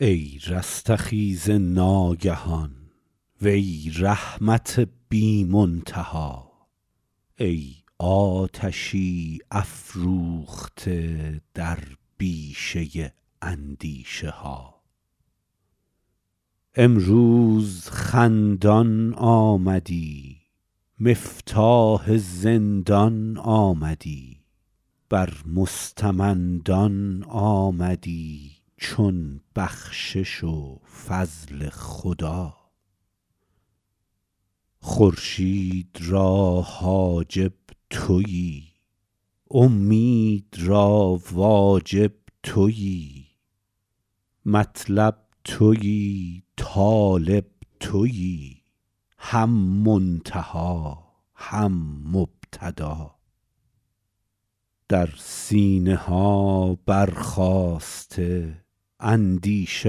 ای رستخیز ناگهان وی رحمت بی منتها ای آتشی افروخته در بیشه اندیشه ها امروز خندان آمدی مفتاح زندان آمدی بر مستمندان آمدی چون بخشش و فضل خدا خورشید را حاجب تویی اومید را واجب تویی مطلب تویی طالب تویی هم منتها هم مبتدا در سینه ها برخاسته اندیشه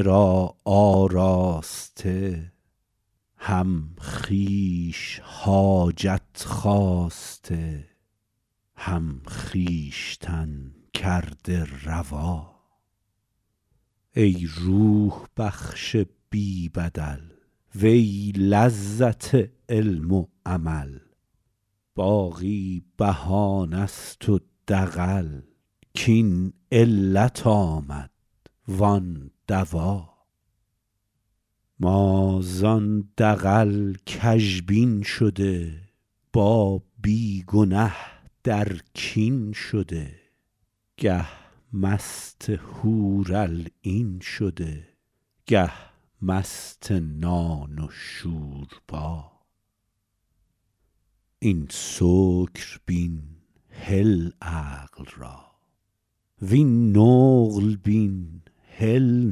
را آراسته هم خویش حاجت خواسته هم خویشتن کرده روا ای روح بخش بی بدل وی لذت علم و عمل باقی بهانه ست و دغل کاین علت آمد وان دوا ما زان دغل کژبین شده با بی گنه در کین شده گه مست حورالعین شده گه مست نان و شوربا این سکر بین هل عقل را وین نقل بین هل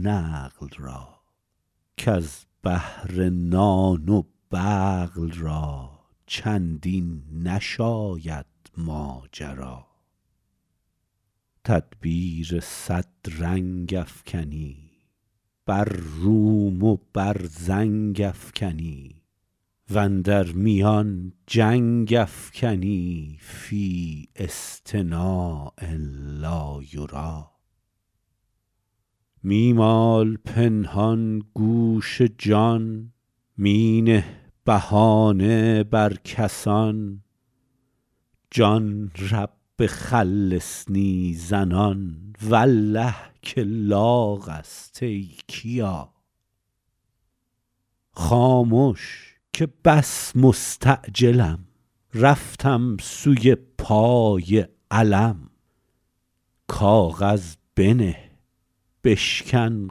نقل را کز بهر نان و بقل را چندین نشاید ماجرا تدبیر صد رنگ افکنی بر روم و بر زنگ افکنی و اندر میان جنگ افکنی فی اصطناع لا یری می مال پنهان گوش جان می نه بهانه بر کسان جان رب خلصنی زنان والله که لاغ است ای کیا خامش که بس مستعجلم رفتم سوی پای علم کاغذ بنه بشکن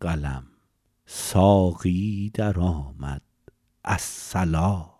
قلم ساقی درآمد الصلا